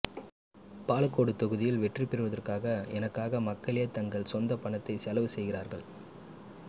பாலக்கோடு தொகுதியில் வெற்றிபெறுவதற்காக எனக்காக மக்களே தங்கள் சொந்த பணத்தை செலவு செய்கிறார்கள்